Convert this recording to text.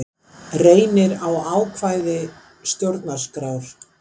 Reynir á ákvæði stjórnarskrár